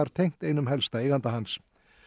tengt einum helsta eiganda hans